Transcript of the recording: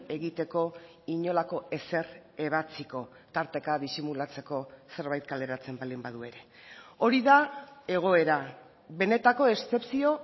egiteko inolako ezer ebatziko tarteka disimulatzeko zerbait kaleratzen baldin badu ere hori da egoera benetako eszepzio